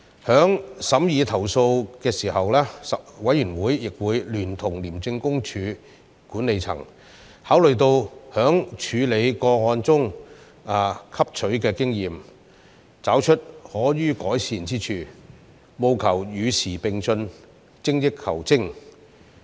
在審議投訴時，委員會亦會聯同廉政公署管理層考慮處理個案過程汲取所得的經驗，找出可予改善之處，務求與時並進，精益求精。